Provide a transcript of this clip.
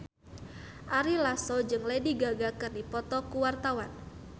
Ari Lasso jeung Lady Gaga keur dipoto ku wartawan